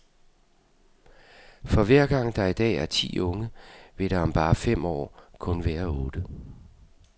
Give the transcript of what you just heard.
For hver gang der i dag er ti unge, vil der om bare fem år kun være otte.